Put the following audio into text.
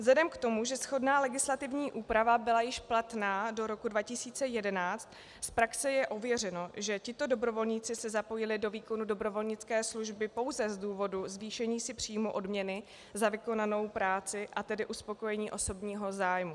Vzhledem k tomu, že shodná legislativní úprava byla již platná do roku 2011, z praxe je ověřeno, že tito dobrovolníci se zapojili do výkonu dobrovolnické služby pouze z důvodu zvýšení si příjmu odměny za vykonanou práci, a tedy uspokojení osobního zájmu.